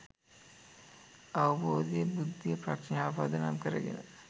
අවබෝධය, බුද්ධිය, ප්‍රඥාව පදනම් කරගෙන